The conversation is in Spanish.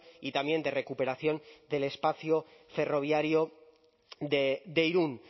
y también de recuperación del espacio ferroviario de irún